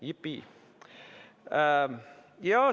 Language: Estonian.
Jipii!